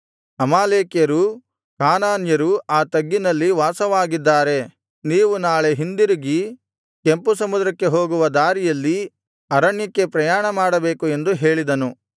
ಅಮಾಲೇಕ್ಯರೂ ಕಾನಾನ್ಯರೂ ಆ ತಗ್ಗಿನಲ್ಲಿ ವಾಸವಾಗಿದ್ದಾರೆ ನೀವು ನಾಳೆ ಹಿಂದಿರುಗಿ ಕೆಂಪು ಸಮುದ್ರಕ್ಕೆ ಹೋಗುವ ದಾರಿಯಲ್ಲಿ ಅರಣ್ಯಕ್ಕೆ ಪ್ರಯಾಣಮಾಡಬೇಕು ಎಂದು ಹೇಳಿದನು